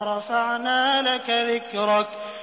وَرَفَعْنَا لَكَ ذِكْرَكَ